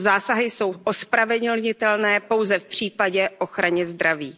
Tyto zásahy jsou ospravedlnitelné pouze v případě ochrany zdraví.